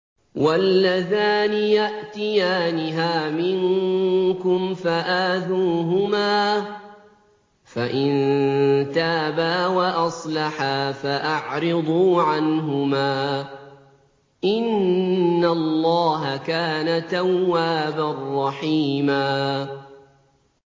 وَاللَّذَانِ يَأْتِيَانِهَا مِنكُمْ فَآذُوهُمَا ۖ فَإِن تَابَا وَأَصْلَحَا فَأَعْرِضُوا عَنْهُمَا ۗ إِنَّ اللَّهَ كَانَ تَوَّابًا رَّحِيمًا